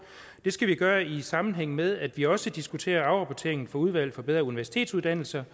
det skal vi gøre i sammenhæng med at vi også diskuterer afrapporteringen fra udvalg for bedre universitetsuddannelser